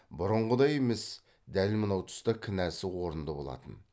бұрынғыдай емес дәл мынау тұста кінәсі орынды болатын